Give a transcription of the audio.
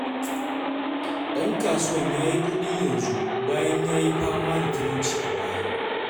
Ɗan kasuwan ya yi kuɗi yanzu bayan ya yi fama da talauci a baya.